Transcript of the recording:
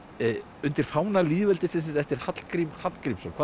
undir fána lýðveldisins eftir Hallgrím Hallgrímsson